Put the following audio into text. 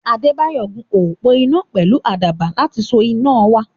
Adébáyọ̀ gun òpó iná pẹ̀lú àkàbà láti so iná wa.